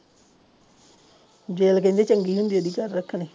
gel ਕਹਿੰਦੇ ਚੰਗੀ ਹੁੰਦੀ ਆ ਜੀ ਘਰ ਰੱਖਣੀ